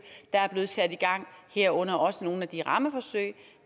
der er blevet sat i gang herunder også nogle af de rammeforsøg